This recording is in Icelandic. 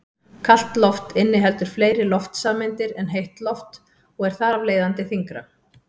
Kalt loft inniheldur fleiri loftsameindir en heitt loft og er þar af leiðandi þyngra.